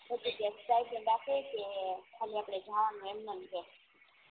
પતિ જાય પછી સ્ટાઇપેન્ડ આપે કે ખાલી આપડી જાણ ને એમનામ રે